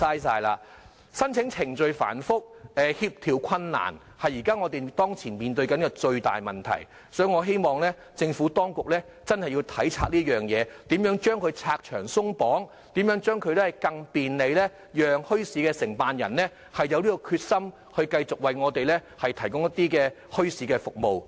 申請程序繁複，協調困難是現時面對的最大問題，所以，我希望政府當局要體察此事，拆牆鬆綁，使申辦墟市更便利，令承辦人有決心繼續為我們提供墟市服務。